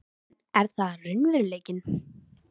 En er það raunveruleikinn?